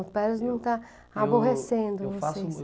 Espero que não está aborrecendo vocês.